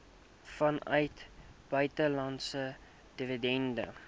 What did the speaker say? vanuit buitelandse dividende